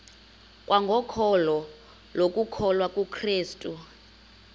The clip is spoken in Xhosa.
kwangokholo lokukholwa kukrestu